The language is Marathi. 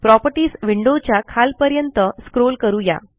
प्रॉपर्टीज विंडो च्या खालपर्यंत स्क्रोल करू या